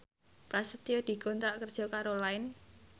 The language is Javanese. Prasetyo dikontrak kerja karo Line